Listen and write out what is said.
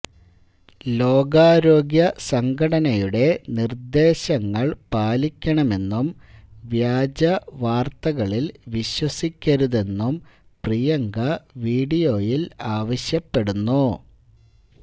ലോകാരോഗ്യ സംഘടനയുടെ നിർദേശങ്ങള് പാലിക്കണമെന്നും വ്യാജ വാര്ത്തകളില് വിശ്വസിക്കരുതെന്നും പ്രിയങ്ക വീഡിയോയില് ആവശ്യപ്പെടുന്നു